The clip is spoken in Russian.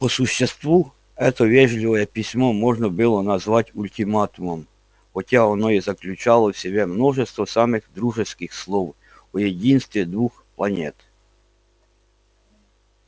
по существу это вежливое письмо можно было назвать ультиматумом хотя оно и заключало в себе множество самых дружеских слов о единстве двух планет